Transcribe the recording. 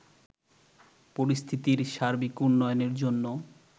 পরিস্থিতির সার্বিক উন্নয়নের জন্য